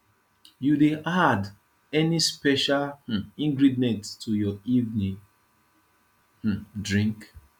you dey add any special um ingredient to your evening um drink